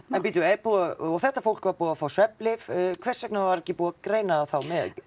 en bíddu er búið að og þetta fólk var búið að fá svefnlyf hvers vegna var ekki búið að greina það þá með